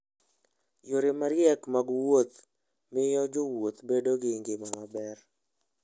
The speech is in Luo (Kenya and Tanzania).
Yore mariek mag wuoth miyo jowuoth bedo gi ngima maber.